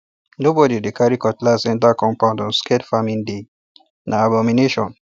nobody dey carry cutlass enter compound on scared farming day na abomination